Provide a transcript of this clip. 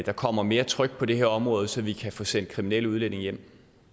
der kommer mere tryk på det her område så vi kan få sendt kriminelle udlændinge hjem